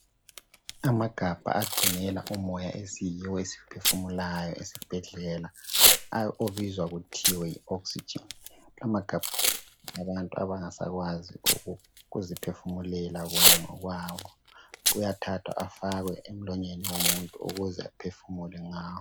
Amagabha agcinela umoya esiyiwo esiwuphefumulayo esibhedlela obizwa kuthiwe yi oxygen. La amagabha ngawabantu abangasakwazi ukuziphefumulela bona ngokwabo. Ayathathwa afakwe emlonyeni womuntu ukuze aphefumule ngawo.